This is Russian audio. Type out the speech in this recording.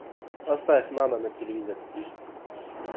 поставь нано на телевизоре